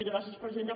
gràcies presidenta